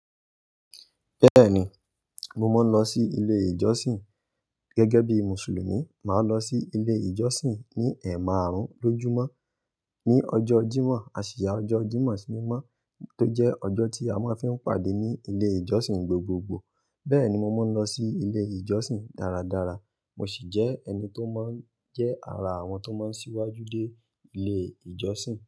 Bẹ́ẹ̀ni, mo máa ń lọ sí ilé ìjọsìn. Gẹ́gẹ́ bí Mùsùlùmí, màá lọ sí ilé ìjọsìn ní ẹ̀maàrún lójúmọ́. Ni ọjọ́ Jímọ̀, àṣì yá ọjọ́ Jímọ̀ sí mímọ́ tó jẹ́ ọjọ́ tí a máa ń fi ń pàdé ní ilé ìjọsìn gbogbogbò. Bẹ́ẹ̀ni, mo máa ń lọ sí ilé ìjọsìn dáradára, mo sì jẹ́ ẹni tó máa ń jẹ́ ara àwọn tó máa ń síwájú dé ilé ìjọsìn.